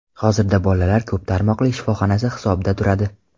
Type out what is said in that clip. Hozirda bolalar ko‘p tarmoqli shifoxonasi hisobida turadi.